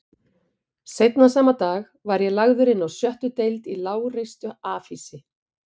Seinna sama dag var ég lagður inná sjöttu deild í lágreistu afhýsi